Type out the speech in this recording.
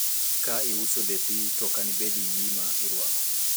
ka iuso lepi to okani bed gi gima irwako